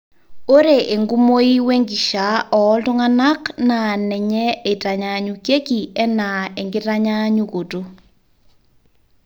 ore enkumoi wenkishaa ooltung'anak naa nenye eitanyanyukieki enaa enkitanyanyukoto